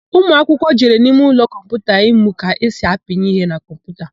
Ụmụakwụkwụ jere n'imeụlọ kọmputa ịmụ ka esi apịnye ihe na kọmputa.